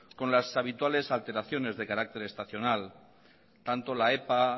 con las habituales alteraciones de carácter estacional tanto la epa